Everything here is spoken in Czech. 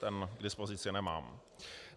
Ten k dispozici nemám.